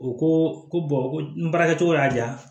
U ko ko ko n baarakɛcogo y'a diya